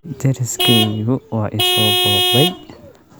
Deriskaygu waa i soo booqday